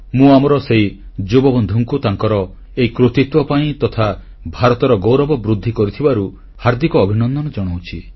ମୁଁ ଆମର ସେହି ଯୁବବନ୍ଧୁଙ୍କୁ ତାଙ୍କର ଏହି କୃତିତ୍ୱ ପାଇଁ ତଥା ଭାରତର ଗୌରବ ବୃଦ୍ଧି କରିଥିବାରୁ ହାର୍ଦ୍ଦିକ ଅଭିନନ୍ଦନ ଜଣାଉଛି